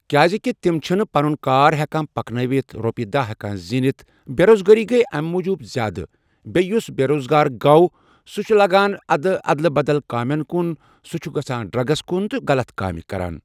کیازِکہِ تٔمی چھنہٕ پَنُن کار ہیٚکان پَکنٲوِتھ رۄپیِہ دَہ ہؠکان زیٖنِتھ . بیروزگٲری گٔے امہ موٗجوٗب زیاد۔ بیٚیہِ یُس بیروزگار گوٚو سُہ چھُ لَگان پَتہٕ اَدٕ اَدلہِ بدل کامیٚن کُن سُہ چُھ گژھان ڈرگٕس کُن تہٕ غَلط کامہِ کَران